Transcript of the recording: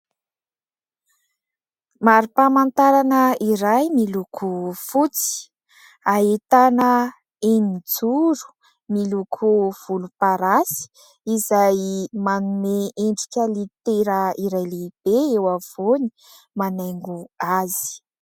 Marim-pamantarana iray miloko fotsy : ahitana eninjoro miloko volomparasy izay manome endrika litera iray lehibe eo afovoany manaingo azy.